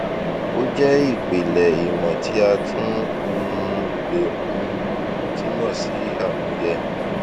ó jẹ ìpìlẹ ìmò tí a tún um le um túmọ sí àmúyẹ